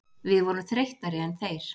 Við vorum þreyttari en þeir.